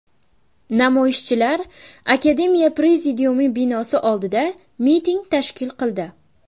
Namoyishchilar akademiya prezidiumi binosi oldida miting tashkil qildi.